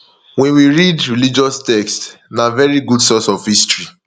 when we read religious text na very good source of history